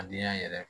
A denya yɛrɛ